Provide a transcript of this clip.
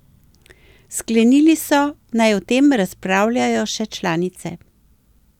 Sklenili so, naj o tem razpravljajo še članice.